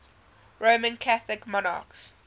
roman catholic monarchs